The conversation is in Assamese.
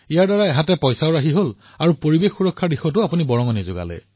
ইয়াৰ দ্বাৰা টকাও বাচিব আৰু পৰিবেশৰ সুৰক্ষাৰো অংশীদাৰ হব পাৰিম